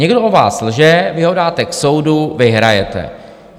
Někdo o vás lže, vy ho dáte k soudu, vyhrajete.